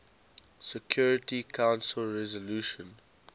security council resolution